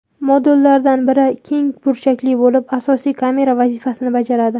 Modullardan biri keng burchakli bo‘lib, asosiy kamera vazifasini bajaradi.